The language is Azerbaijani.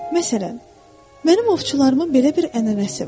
Məsələn, mənim ovçularımın belə bir ənənəsi var.